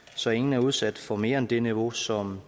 så ingen er udsat for mere end det niveau som